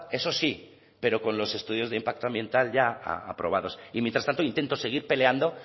eso sí pero con los estudios de impacto ambiental ya aprobados y mientras tanto intento seguir peleando